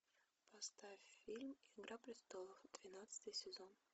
поставь фильм игра престолов двенадцатый сезон